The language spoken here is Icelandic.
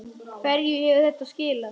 Hverju hefur þetta skilað?